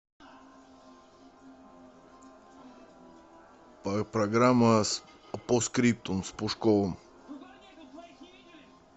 программа постскриптум с пушковым